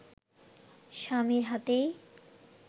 স্বামীর হাতেই